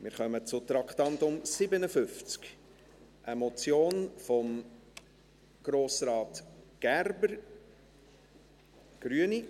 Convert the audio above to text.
Wir kommen zum Traktandum 57, einer Motion von Grossrat Gerber, Grüne.